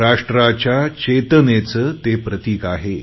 राष्ट्राच्या चेतनेचे ते प्रतिक आहे